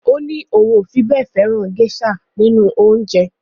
Ó ní òun ò fi bẹ́ẹ̀ fẹ́ràn géṣà nínú oúnjẹ.